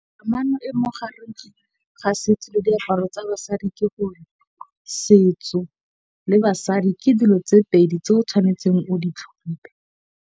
Kamano e mogare ga setso le diaparo tsa basadi, ke gore setso le basadi ke dilo tse pedi tse o tshwanetseng o di tlhompe.